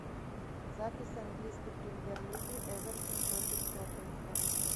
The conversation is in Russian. запись английской премьер лиги эвертон против тоттенхэм